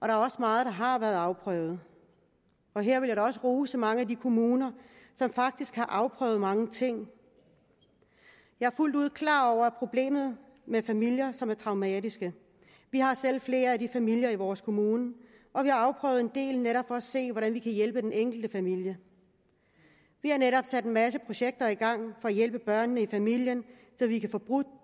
er også meget der har været afprøvet her vil jeg da også rose mange af de kommuner som faktisk har afprøvet mange ting jeg er fuldt ud klar over problemet med familier som er traumatiserede vi har selv flere af de familier i vores kommune og vi har afprøvet en del netop for at se hvordan vi kan hjælpe den enkelte familie vi har netop sat en masse projekter i gang for at hjælpe børnene i familien så vi kan få brudt